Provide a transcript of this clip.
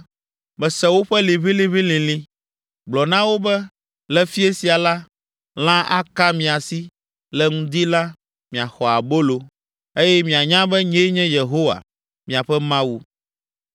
“Mese woƒe liʋĩliʋĩlilĩ. Gblɔ na wo be, ‘Le fiẽ sia la, lã aka mia si; le ŋdi la, miaxɔ abolo, eye mianya be nyee nye Yehowa, miaƒe Mawu.’ ”